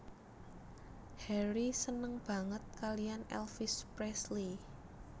Harry seneng banget kalian Elvis Presley